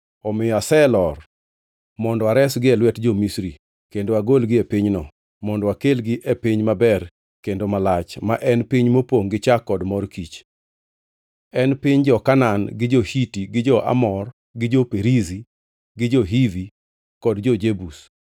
Omiyo aselor mondo aresgi e lwet jo-Misri kendo agolgi e pinyno mondo akelgi e piny maber kendo malach, ma en piny mopongʼ gi chak kod mor kich. En piny jo-Kanaan gi jo-Hiti gi jo-Amor gi jo-Perizi gi jo-Hivi kod jo-Jebus.